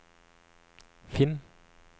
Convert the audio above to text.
finn